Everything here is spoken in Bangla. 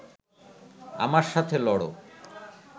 আমার সাথে লড়